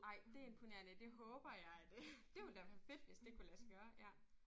Ej det er imponerende det håber jeg det. Det ville da være fedt hvis det kunne lade sig gøre ja